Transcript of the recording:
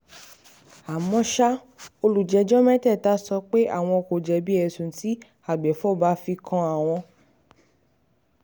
àmọ́ ṣá àwọn olùjẹ́jọ́ mẹ́tẹ̀ẹ̀ta sọ pé um àwọn kò jẹ̀bi ẹ̀sùn tí agbèfọ́ba fi kàn wọ́n um